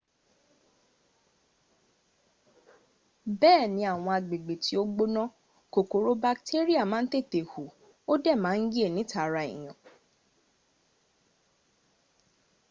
bee ni awon agbegbe ti o gbona kokoro bakteria ma n tete hu o de ma n ye nita ara eyan